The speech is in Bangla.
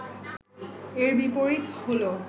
এর বিপরীত হল